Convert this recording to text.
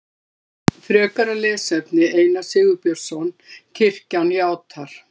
Frekara lesefni Einar Sigurbjörnsson: Kirkjan játar.